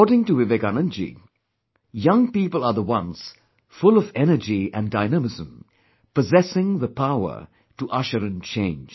According to Vivekanand ji, young people are the one's full of energy and dynamism, possessing the power to usher in change